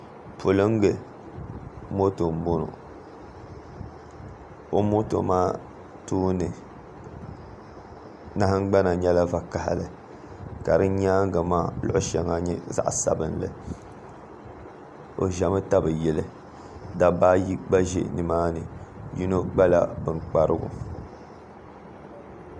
Polingi moto m-bɔŋɔ o moto maa tooni nahingbana nyɛla vakahili ka di nyaaŋa maa luɣ'shɛŋa nye zaɣ'sabinli o zami tabi yili dabba ayi gba za nI maa ni yino kpala bin kparigu